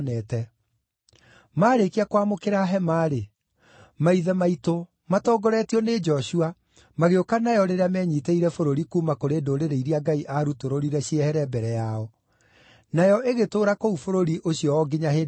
Maarĩkia kwamũkĩra hema-rĩ, maithe maitũ, matongoretio nĩ Joshua magĩũka nayo rĩrĩa menyiitĩire bũrũri kuuma kũrĩ ndũrĩrĩ iria Ngai aarutũrũrire ciehere mbere yao. Nayo ĩgĩtũũra kũu bũrũri ũcio o nginya hĩndĩ ya Daudi,